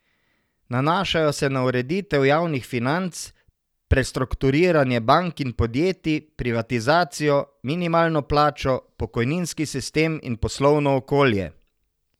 Nanašajo se na ureditev javnih financ, prestrukturiranje bank in podjetij, privatizacijo, minimalno plačo, pokojninski sistem in poslovno okolje.